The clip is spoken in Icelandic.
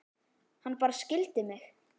Hann bara skildi mig.